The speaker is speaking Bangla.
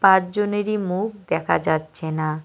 পাঁচজনেরই মুখ দেখা যাচ্ছে না।